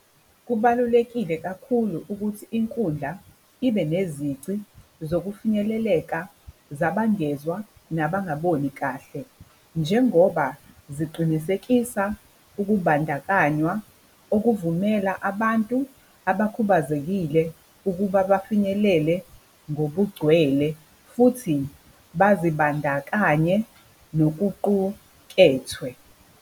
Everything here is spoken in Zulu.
Kubalulekile kakhulu ukuthi inkundla ibe nezici zokufinyeleleka zabangezwa, nabangaboni kahle. Njengoba ziqinisekisa ukubandakanywa okuvumela abantu abakhubazekile ukuba bafinyelele ngobugcwele futhi bazibandakanye nokuqukethwe.